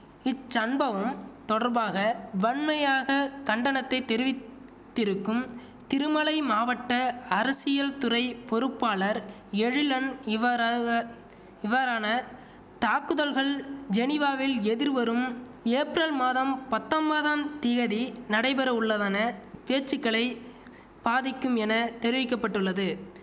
இச்சன்பவம் தொடர்பாக வன்மையாக கண்டனத்தை தெரிவித்திருக்கும் திருமலை மாவட்ட அரசியல் துறை பொறுப்பாளர் எழிலன் இவ்வாறாக இவ்வாறான தாக்குதல்கள் ஜெனிவாவில் எதிர்வரும் ஏப்ரல் மாதம் பத்தொம்பதாம் தியதி நடைபெறவுள்ளதன பேச்சுக்களை பாதிக்கும் என தெரிவிக்க பட்டுள்ளது